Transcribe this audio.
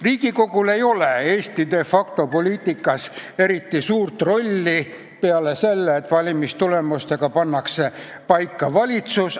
Riigikogul ei ole Eesti de facto poliitikas eriti suurt rolli, peale selle, et valimistulemustega pannakse paika valitsus.